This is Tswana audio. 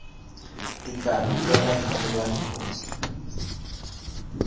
tekano fela a dira diphoso